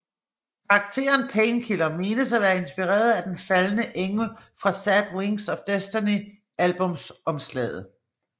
Karakteren Painkiller menes at være inspireret af den faldne engel fra Sad Wings of Destiny albumsomslaget